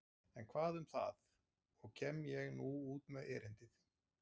En hvað um það og kem ég nú út með erindið.